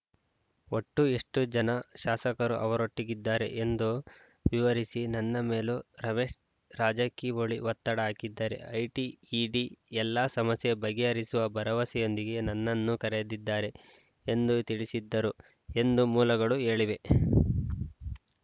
ಒಟ್ಟು ಎಷ್ಟುಜನ ಶಾಸಕರು ಅವರೊಟ್ಟಿಗಿದ್ದಾರೆ ಎಂದು ವಿವರಿಸಿ ನನ್ನ ಮೇಲೂ ರಮೇಶ್‌ ರಾಜಕಿಹೊಳಿ ಒತ್ತಡ ಹಾಕಿದ್ದಾರೆ ಐಟಿ ಇಡಿ ಎಲ್ಲಾ ಸಮಸ್ಯೆ ಬಗೆಹರಿಸುವ ಭರವಸೆಯೊಂದಿಗೆ ನನ್ನನ್ನು ಕರೆದಿದ್ದಾರೆ ಎಂದು ತಿಳಿಸಿದ್ದರು ಎಂದು ಮೂಲಗಳು ಹೇಳಿವೆ